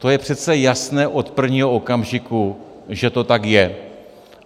To je přece jasné od prvního okamžiku, že to tak je.